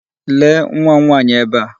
Lee nwa m nwaanyị ebe a.